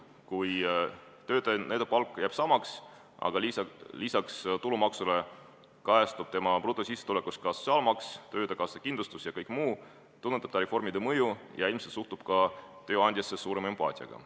Kui töötaja palk jääb samaks, aga lisaks tulumaksule kajastub tema brutosissetulekus ka sotsiaalmaks, töötukassa kindlustus ja kõik muu, tunnetab ta reformide mõju ja ilmselt suhtub ka tööandjasse suurema empaatiaga.